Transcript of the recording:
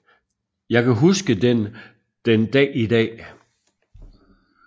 Jeg kan huske den den Dag i Dag